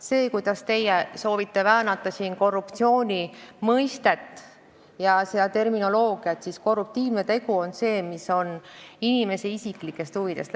See, et teie soovite siin väänata korruptsiooni mõistet ja terminoloogiat, ei muuda asjaolu, et korruptiivne tegu on see, mis lähtub inimese isiklikest huvidest.